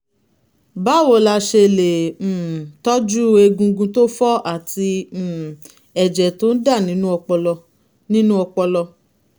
báwo la ṣe lè um tọ́jú egungun tó fọ́ àti um ẹ̀jẹ̀ tó ń dà nínú ọpọlọ? nínú ọpọlọ?